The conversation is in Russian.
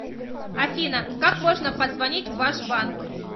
афина как можно позвонить в ваш банк